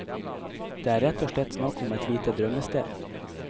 Det er rett og slett snakk om et lite drømmested.